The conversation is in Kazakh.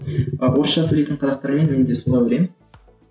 а орысша сөйлейтін қазақтармен менде солай ойлаймын